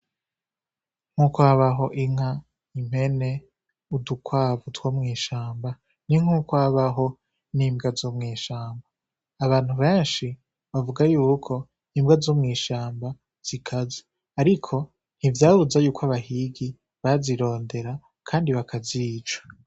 Nkuko habaho inka, impene, udukwavu two mw'ishamba, ni nkuko habaho n’imbwa zo mw'ishamba. Abantu benshi bavuga yuko imbwa zo mw'ishamba zikaze, ariko ntivyabuza y'uko abahigi bazirondera kandi bakazica.